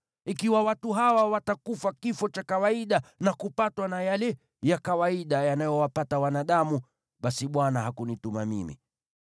Ikiwa watu hawa watakufa kifo cha kawaida na kupatwa na yale ya kawaida yanayowapata wanadamu, basi Bwana hakunituma mimi.